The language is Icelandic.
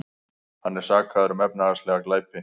Hann er sakaður um efnahagslega glæpi